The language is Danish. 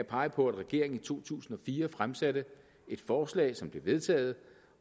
pege på at regeringen i to tusind og fire fremsatte et forslag som blev vedtaget